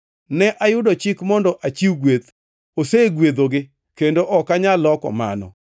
Ne ayudo chik mondo achiw gweth; osegwedhogi, kendo ok anyal loko mano.